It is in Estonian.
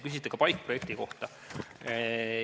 Küsiti ka PAIK-projekti kohta.